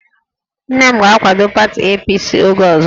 Nne m ga-akwado pati APC oge ọzọ